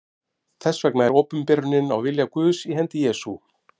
Þess vegna er opinberunin á vilja Guðs í hendi Jesú.